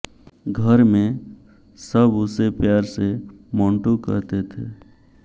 घर में सब उसे प्यार से मोंटू कहते थे